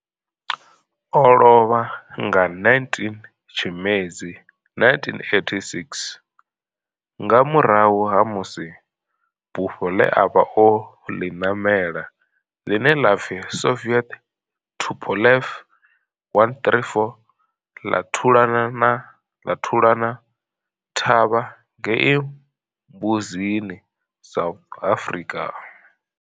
O lovha nga 19 Tshimedzi 1986 nga murahu ha musi bufho ḽe a vha o ḽi ṋamela, ḽine ḽa pfi Soviet Tupolev 134 ḽa thulana thavha ngei Mbuzini, South Africa.